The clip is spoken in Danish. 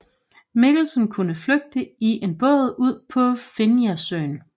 Mikkelsen kunne flygte i en båd ud på Finjasøen